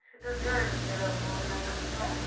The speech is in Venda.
tshi todea dzilafho la mishonga